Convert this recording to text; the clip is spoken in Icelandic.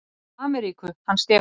Til Ameríku, hann Stefán minn.